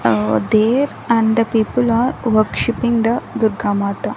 There and the people are worshipping the durga mata.